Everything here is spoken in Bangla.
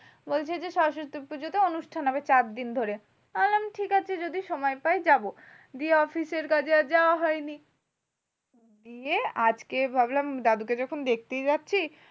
বলছে যে সরস্বতী পুজোতে অনুষ্ঠান হবে চার দিন ধরে। আমি বললাম ঠিকাছে যদি সময় পাই যাবো। দিয়ে অফিসের কাজে আর যাওয়া হয়নি। দিয়ে আজকে ভাবলাম দাদুকে যখন দেখতেই যাচ্ছি